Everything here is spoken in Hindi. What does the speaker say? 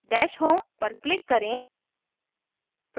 dash home पर click करें